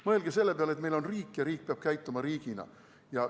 Mõelge selle peale, et meil on riik ja riik peab käituma riigina.